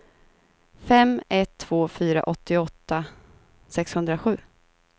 fem ett två fyra åttioåtta sexhundrasju